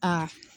Aa